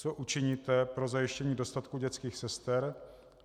Co učiníte pro zajištění dostatku dětských sester?